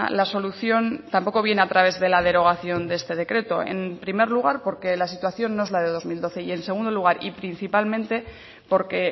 la solución tampoco viene a través de la derogación de este decreto en primer lugar porque la situación no es la de dos mil doce y en segundo lugar y principalmente porque